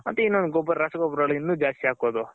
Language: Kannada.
ಮತ್ತೆ ಇನ್ನು ರಸಗೊಬ್ಬರಗಳು ಇನ್ನು ಜಾಸ್ತಿ ಹಾಕೋದು.